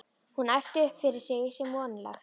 Hún æpti upp yfir sig sem vonlegt var.